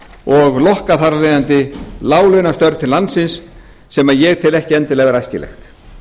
og lokka þar af leiðandi láglaunastörf til landsins sem ég tel ekki endilega vera æskilegt